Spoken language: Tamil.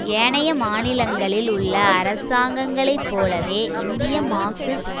ஏனைய மாநிலங்களில் உள்ள அரசாங்கங்களை போலவே இந்திய மார்க்சிஸ்ட்